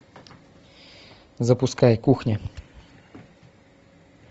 запускай кухня